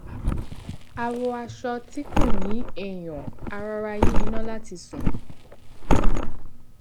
a wọ aṣọ tí kò ní èèyàn a rọra yí iná láti sùn